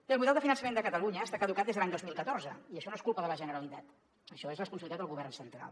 bé el model de finançament de catalunya està caducat des de l’any dos mil catorze i això no és culpa de la generalitat això és responsabilitat del govern central